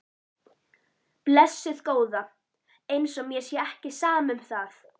Blessuð góða. eins og mér sé ekki sama um það!